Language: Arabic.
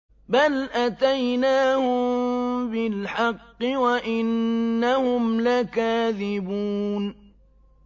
بَلْ أَتَيْنَاهُم بِالْحَقِّ وَإِنَّهُمْ لَكَاذِبُونَ